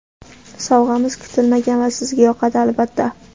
Sovg‘amiz kutilmagan va sizga yoqadi albatta!.